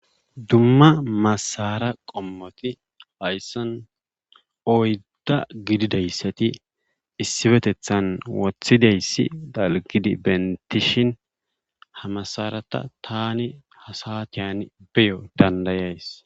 Dumma masara qommoti hayssan oyda gididaysati issippetethan wothidayssi dalggidi bentishinha masarata tani ha saatiyani beyo dandayayis.